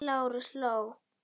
Lárus hló.